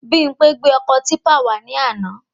Bimpé gbé ọkọ típpà wà ní àna